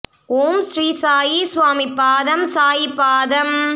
ஓம் ஸ்ரீ சாயி சுவாமி பாதம் சாயி பாதம்